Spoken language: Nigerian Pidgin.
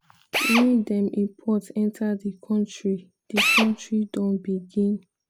wey dem import enta di kontri di kontri don begin.